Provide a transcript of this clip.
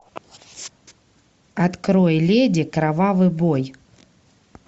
открой леди кровавый бой